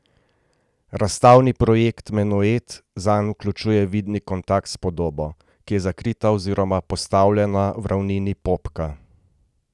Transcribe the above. Razstavni projekt Menuet zanj vključuje vidni kontakt s podobo, ki je zakrita oziroma postavljena v ravnini popka.